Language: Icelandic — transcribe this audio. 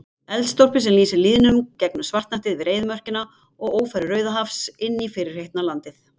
Eldstólpi sem lýsir lýðnum gegnum svartnættið yfir eyðimörkina og ófæru Rauðahafs inní fyrirheitið land